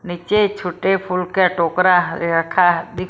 नीचे छोटे फूल का टोकरा रखा ---